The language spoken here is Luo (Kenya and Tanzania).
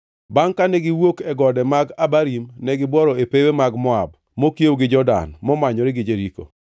Bangʼ kane giwuok e gode mag Abarim negibuoro e pewe mag Moab mokiewo gi Jordan momanyore gi Jeriko.